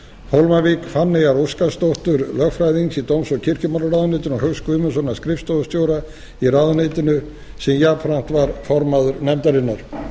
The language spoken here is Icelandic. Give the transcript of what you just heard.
hólmavík fanneyjar óskarsdóttur lögfræðings í dóms og kirkjumálaráðuneytinu og hauks guðmundssonar skrifstofustjóra í ráðuneytinu sem jafnframt var formaður nefndarinnar